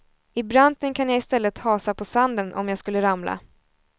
I branten kan jag istället hasa på sanden om jag skulle ramla.